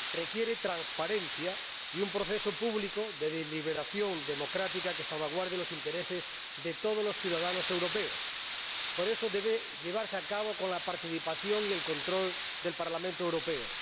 requieren transparencia y un proceso público de deliberación democrática que salvaguarde los intereses de todos los ciudadanos europeos, por eso deben llevarse a cabo con la participación y el control del Parlamento Europeo.